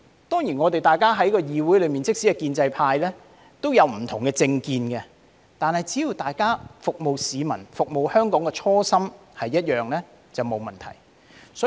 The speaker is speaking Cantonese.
當然，在議會裏，即使是建制派也有不同的政見，但只要大家服務市民、服務香港的初心是一樣便沒有問題。